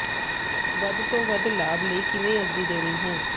ਵੱਧ ਤੋਂ ਵੱਧ ਲਾਭ ਲਈ ਕਿਵੇਂ ਅਰਜ਼ੀ ਦੇਣੀ ਹੈ